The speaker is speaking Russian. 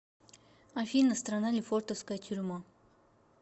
афина страна лефортовская тюрьма